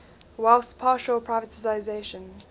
whilst partial privatisation